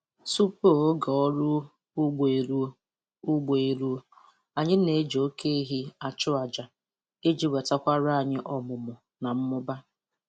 Tupu oge ọrụ ugbo eruo, ugbo eruo, anyị na-eji oke ehi achụ aja iji wetakwara anyị ọmụmụ na mmụba